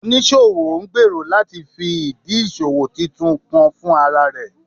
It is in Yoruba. Onisowo ngbero lati fi idi iṣowo titun kan fun ara rẹ